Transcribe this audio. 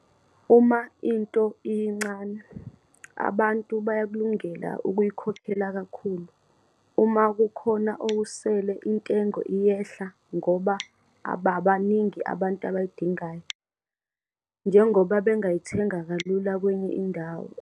Uma into iyincane, abantu bayakulungela ukuyikhokhela kakhulu - uma kukhona okusele, intengo iyehla ngoba ababaningi abantu abayidingayo, njengoba bengayithenga kalula kwenye indawo.